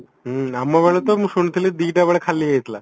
ହ୍ମ ଆମ ବେଳେ ତ ମୁଁ ଶୁଣିଥିଇ ଦିଟା ବେଳେ ଖାଲି ହେଇଯାଇଥିଲା